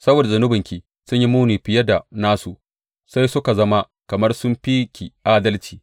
Saboda zunubanki sun yi muni fiye da nasu, sai suka zama kamar sun fi ki adalci.